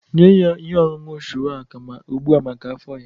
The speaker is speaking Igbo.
Nye ya ihe ọṅụṅụ shuwaka ugbu a maka afọ ya